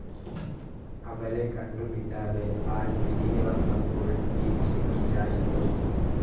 അവരെ കണ്ടുകിട്ടാതെ ആൾ തിരികെവന്നപ്പോൾ പീപ്സിനു നിരാശ തോന്നി.